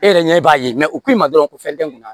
E yɛrɛ ɲɛ b'a ye u k'i ma dɔrɔn ko fɛn tɛ n kun na